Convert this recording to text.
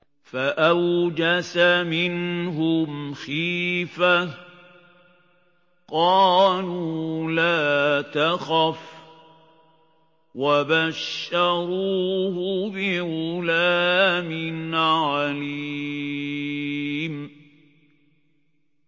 فَأَوْجَسَ مِنْهُمْ خِيفَةً ۖ قَالُوا لَا تَخَفْ ۖ وَبَشَّرُوهُ بِغُلَامٍ عَلِيمٍ